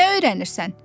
Nə öyrənirsən?